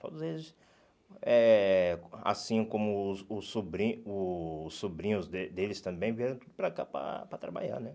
Todos eles, eh assim como os os sobrin os sobrinhos de deles também, vieram para cá para para trabalhar, né?